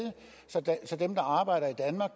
så dem der arbejder